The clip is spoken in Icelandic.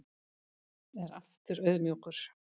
Er aftur auðmjúkur